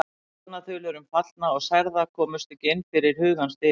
Talnaþulur um fallna og særða komust ekki inn fyrir hugans dyr.